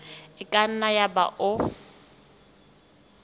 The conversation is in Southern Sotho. e ka nna yaba o